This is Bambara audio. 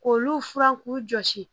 K'olu furan k'u jɔsi